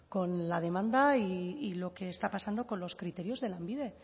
con la demanda y lo que está pasando con los criterios de lanbide